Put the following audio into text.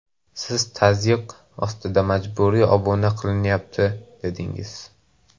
Siz tazyiq ostida majburiy obuna qilinyapti, dedingiz.